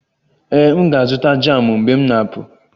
Ee, M ga-azụta jamụ mgbe m na-apụ